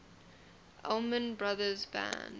allman brothers band